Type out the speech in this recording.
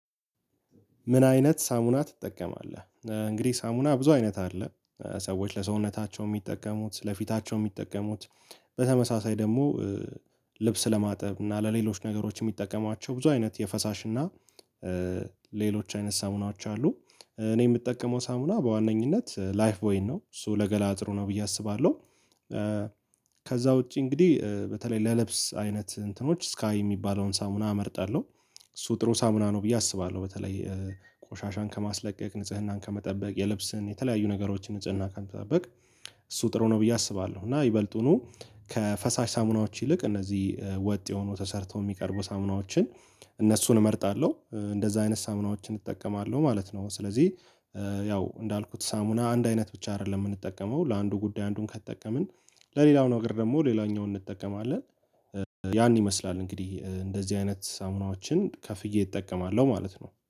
ምን አይነት ሳሙና ትጠቀማለህ? እንግዲህ ሳሙና ብዙ አይነት አለ። ሰዎች ለሰውነታቸው የሚጠቀሙት ለፊታቸው የሚጠቀሙት። በተመሳሳይ ደግሞ ልብስ ለማጠብ እና ለሌሎች ነገሮች የሚጠቀሟቸው ብዙ አይነት የፈሳሽ እና ሌሎች አይነት ሳሙናዎች አሉ። እኔ የምጠቀመው ሳሙና በዋነኝነት ላይፍ ቦይን ነው እሱ ለገላጥሩ ነው ብዬ አስባለሁ። ከዛ ውጪ እንግዲህ በተለይ ለልብስ አይነት እንትኖች ስካይ የሚባለውን ሳሙና አመርጣለሁ። እሱ ጥሩ ሳሙና ነው ብዬ አስባለሁ። በተለይ ቆሻሻን ከማስለቀቅ ንጽህናን ከመጠበቅ የልብስህን የተለያዩ ነገሮችን ንጽህና ከመጠበቅ እሱ ጥሩ ነው ብዬ አስባለሁ። እና ይበልጡኑ ከፈሳሽ ሳሙናዎች ይልቅ እነዚህ ወጥ የሆኑ ተሰርተው የሚቀርቡ ሳሙናዎችን። እነሱን እመርጣለሁ እንደዛ አይነት ሳሙናዎችን እጠቀማለሁ ማለት ነው። ስለዚህ ያው እንዳልኩት ሳሙና አንድ አይነት ብቻ አይደለም የምንጠቀመው ለአንዱ ጉዳይ አንዱን ከተጠቀምን ለሌላኛው ነገር ደግሞ ሌላኛውን እንጠቀማለን። ያን ይመስላል እንግዲህ እንደዚህ አይነት ሳሙናዎችን ከፍዬ እጠቀማለሁ ማለት ነው